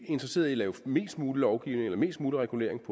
interesserede i at lave mest mulig lovgivning eller mest mulig regulering